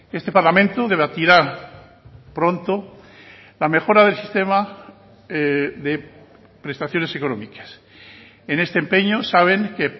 este parlamento debatirá pronto la mejora del sistema de prestaciones económicas en este empeño saben que